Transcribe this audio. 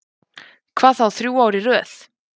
Hvað þá þrjú ár í röð.